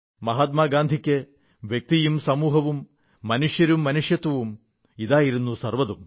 മഹാത്മാഗാന്ധിക്ക് വ്യക്തിയും സമൂഹവും മനുഷ്യരും മനുഷ്യത്വവും ഇതായിരുന്നു സർവ്വതും